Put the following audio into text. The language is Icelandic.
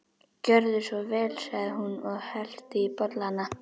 Gjörðu svo vel sagði hún og hellti í bollana.